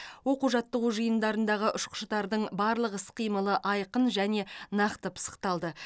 оқу жаттығу жиындарындағы ұшқыштардың барлық іс қимылы айқын және нақты пысықталды